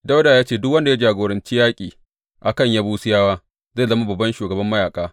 Dawuda ya ce, Duk wanda ya jagoranci yaƙi a kan Yebusiyawa zai zama babban shugaban mayaƙa.